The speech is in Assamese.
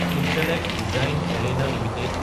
intellect Design Arena Ltd